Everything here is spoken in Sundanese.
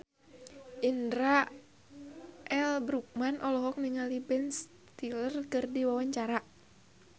Indra L. Bruggman olohok ningali Ben Stiller keur diwawancara